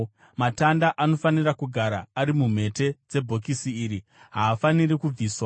Matanda anofanira kugara ari mumhete dzebhokisi iri; haafaniri kubviswa.